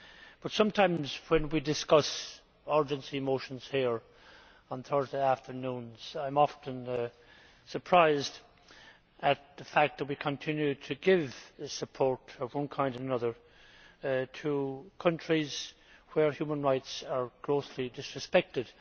but sometimes, when we discuss urgency motions here on Thursday afternoons, I am often surprised at the fact that we continue to give support, of one kind or another, to countries where human rights are grossly disrespected.